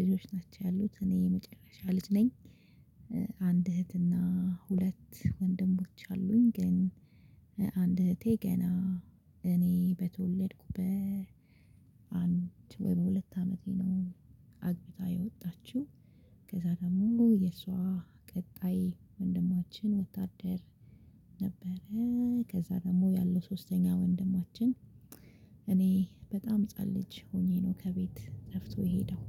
ልጆች ናቸው ያሉት እኔ መጨረሻ ልጅ ነኝ። አንድ እህትና ሁለት ወንድሞች አሉኝ። ግን አንድ እህቴ ገና እኔ በተወለድኩ በአንድ ወይም በሁለት አመቴ ነው። አግብታ የወጣችው። ከዛ ደግሞ የእሷ ቀጣይ ወንድማችን ወታደር ነበረ። ከዛ ደግሞ ያለው ሶስተኛ ወንድማችን። እኔ በጣም ህፃን ልጅ ሆኜ ነው ከቤት ጠፍቶ የሄደው።